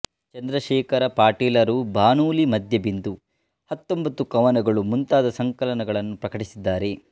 ಚಂದ್ರಶೇಖರ ಪಾಟೀಲರು ಬಾನುಲಿ ಮಧ್ಯಬಿಂದು ಹತ್ತೊಂಬತ್ತು ಕವನಗಳು ಮುಂತಾದ ಸಂಕಲನಗಳನ್ನು ಪ್ರಕಟಿಸಿದ್ದಾರೆ